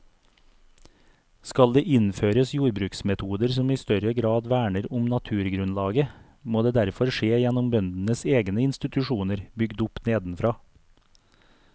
Skal det innføres jordbruksmetoder som i større grad verner om naturgrunnlaget, må det derfor skje gjennom bøndenes egne institusjoner bygd opp nedenfra.